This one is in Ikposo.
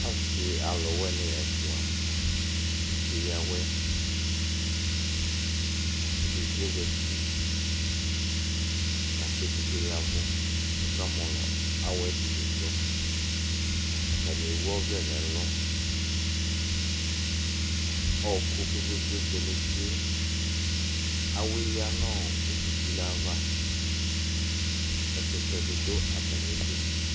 Asi alʋwini ɛfʋa keya awɛ edigno zati lakʋ edigno ya ɛvʋ kʋ ɔka mɔlɔ awɛdi lidʋ atani ewʋ ɔvlɛ nʋ ɛlʋ ɔkʋ kpe kpe kpe tsʋe nʋ uti awɛya nʋ utu tule ava ɛkʋtɛdi dʋ atami idʋ